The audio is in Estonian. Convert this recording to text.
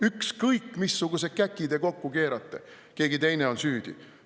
Ükskõik, missuguse käki te kokku keerate – keegi teine on süüdi.